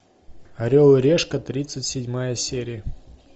орел и решка тридцать седьмая серия